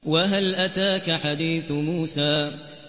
وَهَلْ أَتَاكَ حَدِيثُ مُوسَىٰ